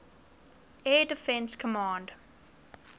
air defense command